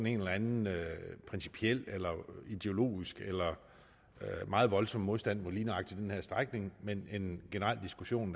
en eller anden principiel eller ideologisk eller meget voldsom modstand mod lige nøjagtig den her strækning men er en generel diskussion